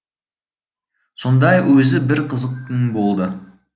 сондай өзі бір қызық күн болды